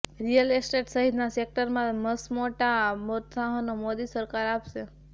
real estate સહિતના સેકટરમાં મસમોટા પ્રોત્સાહનો મોદી સરકાર આપશે